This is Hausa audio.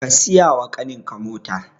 Ka siyawa ƙaninka mota